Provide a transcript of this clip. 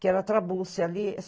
Que era trabúrcio ali.